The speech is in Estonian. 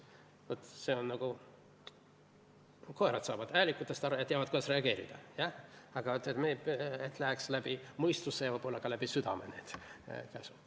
Koeradki saavad häälikutest aru ja teavad, kuidas reageerida, aga meil läheks need käsud läbi mõistuse ja võib-olla ka läbi südame.